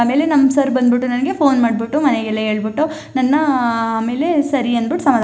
ಆಮೇಲೆ ನನ್ನ ಸರ್ ಬಂದ್ಬಿಟ್ಟು ನಂಗೆ ಫೋನ್ ಮಾಡ್ಬಿಟ್ಟು ಮನೆಗೆಲ್ಲ ಹೇಳ್ ಬಿಟ್ಟು ನನ್ನ ಆ ಆಮೇಲೆ ಸರಿ ಎಂದ್ ಹೇಳ್ಬಿಟ್ಟು ಸಮಾಧಾನ--